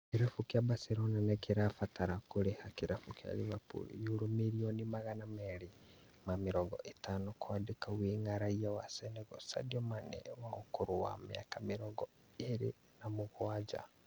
Kĩrabu kĩa Barcelona nĩgĩgũbatara kũrĩha kĩrabu kĩa Liverpool yuro mirioni magana merĩ ma mĩrongo ĩtano kwandĩka wing'a Raiya wa Senegal Sadio Mane wa ũkũrũ wa mĩaka mĩrongo ĩrĩ na mũgwanja